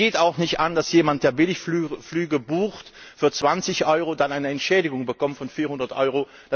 Es geht auch nicht an, dass jemand, der Billigflüge bucht für 20 EUR, dann eine Entschädigung bekommt von 400 EUR.